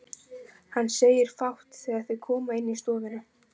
Hann segir fátt þegar þau koma inn í stofuna.